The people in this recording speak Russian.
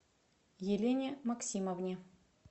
елене максимовне